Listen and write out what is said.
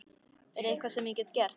Er eitthvað sem ég get gert?